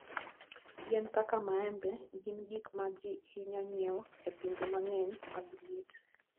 Yien kaka maembe gin gik ma ji hinyo nyiewo e pinje mang'eny mag liet.